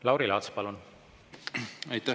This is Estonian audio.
Lauri Laats, palun!